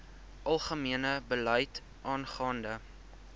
algemene beleid aangaande